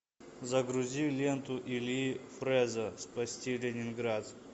загрузи ленту ильи фрэза спасти ленинград